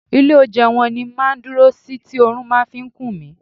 Ilé oúnjẹ wọn ni máa ń dúró sí tí oorun máa fi kun mí.